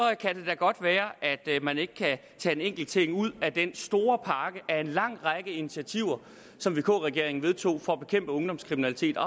kan det da godt være at man ikke kan tage en enkelt ting ud af den store pakke af en lang række initiativer som vk regeringen vedtog for at bekæmpe ungdomskriminalitet og